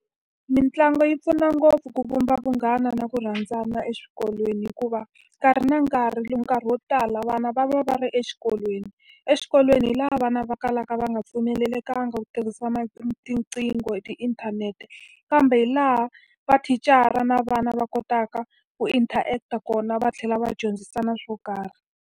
Mitlangu yi pfuna ngopfu ku vumba vunghana na ku rhandzana exikolweni hikuva, nkarhi na nkarhi nkarhi wo tala vana va va va ri exikolweni. Exikolweni hi laha vana va kalaka va nga pfumelelekanga ku tirhisa tinqingho hi tiinthanete, kambe hi laha mathicara na vana va kotaka ku interact-a kona va tlhela va dyondzisana swo karhi.